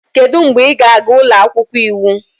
Kedu mgbe ị ga-aga ụlọ akwụkwọ iwu?